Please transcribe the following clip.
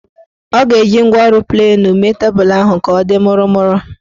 Ọ ga-eji ngwaọrụ plenu mee tebulu ahụ ka ọ dị mụrụmụrụ